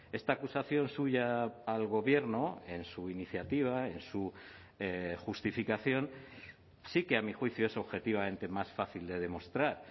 esta acusación suya al gobierno en su iniciativa en su justificación sí que a mi juicio es objetivamente más fácil de demostrar